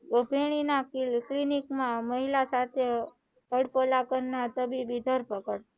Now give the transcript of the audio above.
clinic માં મહિલા સાથે અડકોલા કરનાર તબીબી ધરપકડ